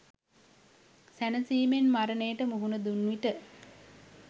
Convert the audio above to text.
සැනසීමෙන් මරණයට මුහුණ දුන්විට